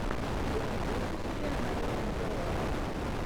ты найдешь у себя наину герреро